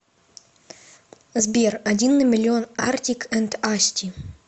сбер один на миллион артик энд асти